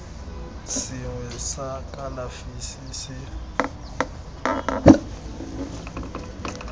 sengwe sa kalafi se se